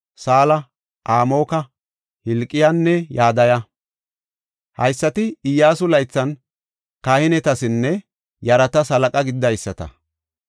Saala, Amoka, Hilqiyaanne Yadaya. Haysati Iyyasu laythan kahinetasinne yaratas halaqa gididaysata.